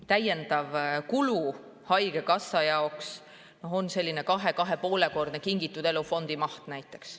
Täiendav kulu haigekassa jaoks on 2–2,5‑kordne Kingitud Elu fondi maht.